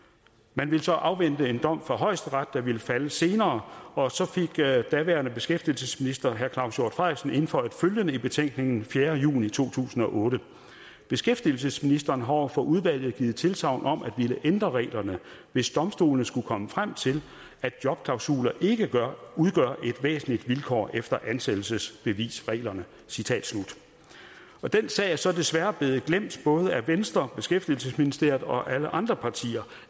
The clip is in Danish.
man ville så afvente en dom fra højesteret der ville falde senere og så fik daværende beskæftigelsesminister herre claus hjort frederiksen indføjet følgende i betænkningen fjerde juni 2008 beskæftigelsesministeren har over for udvalget givet tilsagn om at ville ændre reglerne hvis domstolene skulle komme frem til at jobklausuler ikke udgør et væsentligt vilkår efter ansættelsesbevisreglerne den sag er så desværre blevet glemt både af venstre beskæftigelsesministeriet og alle andre partier